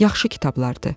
Yaxşı kitablardı.